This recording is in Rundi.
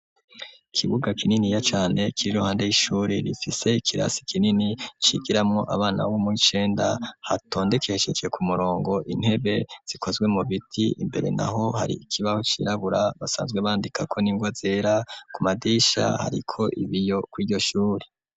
Ikibuga kinini ya cane, k'iriruhande y'ishuri rifise ikirasi kinini cigiramwo abana b'omuwicenda ,hatondekesheje ku murongo, intebe zikozwe mu biti imbere naho hari ikibaho cirabura, basanzwe bandika ko n'ingwa zera, ku madisha hariko ibiyo ku'iryoshuri.